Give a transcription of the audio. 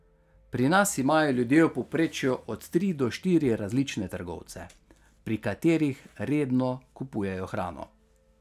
Pri nas imajo ljudje v povprečju od tri do štiri različne trgovce, pri katerih redno kupujejo hrano.